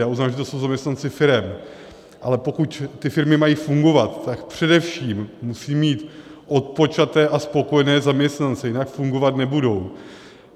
Já uznávám, že to jsou zaměstnanci firem, ale pokud ty firmy mají fungovat, tak především musí mít odpočaté a spokojené zaměstnance, jinak fungovat nebudou.